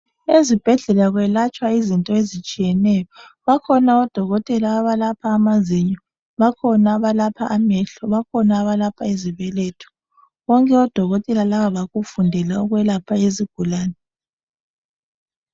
Ezibhedlela kwelatshwa izinto ezitshiyeneyo. bakhona odokotela abalapha amazinyo, bakhona abalapha amehlo, bakhona abalapha izibeletho. Bonke odokotela laba bakufundela ukwelapha izigulane.